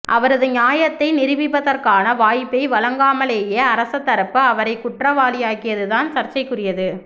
அவரது நியாயத்தை நிரூபிப்பதற்கான வாய்ப்பை வழங்காமலேயே அரசதரப்பு அவரைக் குற்றவாளியாக்கியது தான் சர்ச்சைக்குரியது